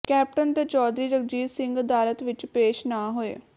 captain ਤੇ ਚੌਧਰੀ ਜਗਜੀਤ ਸਿੰਘ ਅਦਾਲਤ ਵਿਚ ਪੇਸ਼ ਨਾ ਹੋਏ